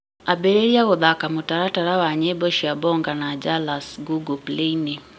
ambĩrĩria gũthaaka mũtaratara wa nyĩmbo cia bonga na jalas google play-inĩ